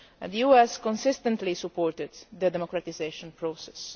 The EU has consistently supported the democratisation process.